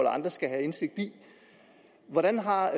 andre skal have indsigt i hvordan har